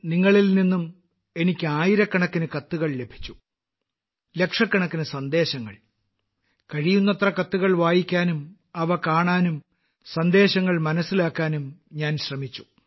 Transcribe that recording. നിങ്ങളിൽ നിന്നും എനിക്ക് ആയിരക്കണക്കിന് കത്തുകൾ ലഭിച്ചു ലക്ഷക്കണക്കിന് സന്ദേശങ്ങൾ കഴിയുന്നത്ര കത്തുകൾ വായിക്കാനും അവ കാണാനും സന്ദേശങ്ങൾ മനസ്സിലാക്കാനും ഞാൻ ശ്രമിച്ചു